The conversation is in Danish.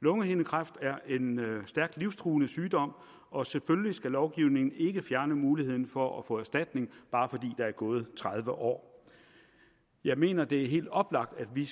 lungehindekræft er en stærkt livstruende sygdom og selvfølgelig skal lovgivningen ikke fjerne muligheden for at få erstatning bare fordi der er gået tredive år jeg mener det er helt oplagt at vi